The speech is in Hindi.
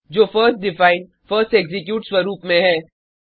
जो फर्स्ट डिफाइन फर्स्ट एक्जीक्यूट स्वरूप में है